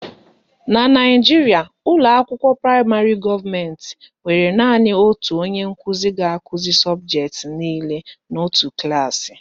Na Naijiria, ụlọakwụkwọ praịmarị gọọmentị nwere na-enwe naanị otu onye nkụzi ga-akụzi sọbụjetị niile n'otu klaasị